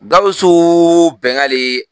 Gawusu Bɛngali